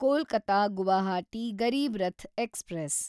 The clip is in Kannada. ಕೊಲ್ಕತ ಗುವಾಹಟಿ ಗರೀಬ್ ರಥ್ ಎಕ್ಸ್‌ಪ್ರೆಸ್